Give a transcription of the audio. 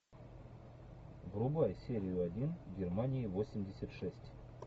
врубай серию один германия восемьдесят шесть